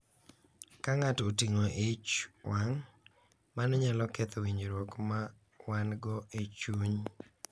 Ka ng’ato oting’o ich wang’, mano nyalo ketho winjruok ma wan-go e chuny